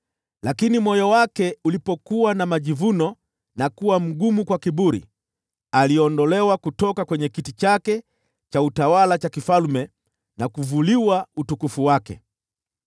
Lakini moyo wake ulipokuwa na majivuno na kuwa mgumu kwa kiburi, aliondolewa kutoka kwa kiti chake cha ufalme na kuvuliwa utukufu wake.